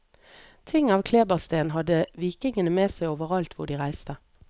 Ting av klebersten hadde vikingene med seg overalt hvor de reiste.